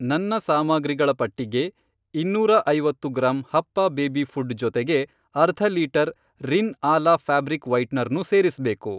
ನನ್ನ ಸಾಮಗ್ರಿಗಳ ಪಟ್ಟಿಗೆ ಇನ್ನೂರ ಐವತ್ತು ಗ್ರಾಂ ಹಪ್ಪ ಬೇಬಿ ಫ಼ುಡ್ ಜೊತೆಗೆ ಅರ್ಧ ಲೀಟರ್ ರಿನ್ ಆಲಾ ಫ್ಯಾಬ್ರಿಕ್ ವೈಟ್ನರ್ನೂ ಸೇರಿಸ್ಬೇಕು.